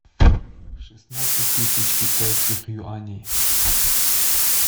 шестнадцать тысяч китайских юаней